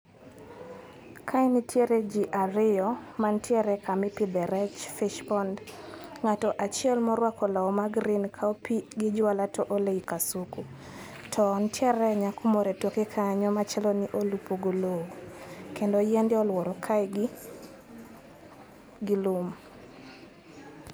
Ka nitiere ji ariyo mantiere kama ipidhe rech fish pond ng'ato achiel mororuako law magreen kawo pii gi jwala to ole ii kasuku. To nitiere nyako moro etokekanyo machalo ni olupo golou kendo yiende oluoro kae gi lum.